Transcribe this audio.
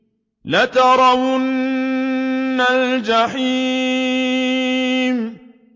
لَتَرَوُنَّ الْجَحِيمَ